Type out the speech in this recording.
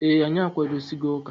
Ee, anyị akwadosigo ụka.